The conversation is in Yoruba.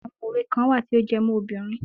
Àwọn òwe kan wà tí ó jẹ́ mọ́ obìnrin.